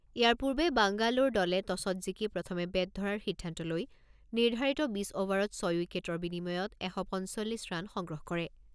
ইয়াৰ পূৰ্বে বাংগালোৰ দলে টছত জিকি প্ৰথমে বেট ধৰাৰ সিদ্ধান্ত লৈ নিৰ্ধাৰিত বিছ অভাৰত ছয় উইকেটৰ বিনিময়ত এশ পঞ্চল্লিছ ৰান সংগ্ৰহ কৰে।